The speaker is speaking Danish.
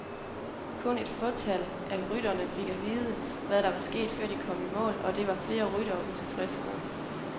Kun et fåtal af rytterne fik at vide, hvad der var sket, før de kom i mål, og det var flere ryttere utilfredse med.